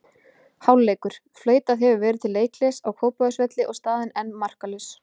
Hálfleikur: Flautað hefur verið til leikhlés á Kópavogsvelli og staðan enn markalaus.